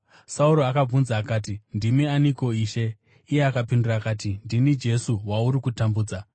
Sauro akabvunza akati, “Ndimi aniko, Ishe?” Iye akapindura akati, “Ndini Jesu wauri kutambudza.